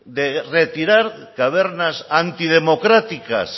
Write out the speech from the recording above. de retirar cavernas antidemocráticas